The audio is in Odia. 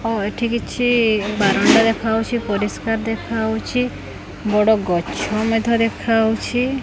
ଓ ଏଠି କିଛି ବାରଣ୍ଡା ଦେଖାଉଛି ପରିଷ୍କାର ଦେଖାଉଛି ବଡ଼ ଗଛ ମଧ୍ୟ ଦେଖାଉଛି ।